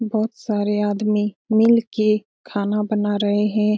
बहुत सारे आदमी मिल के खाना बना रहे है।